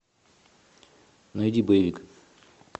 найди боевик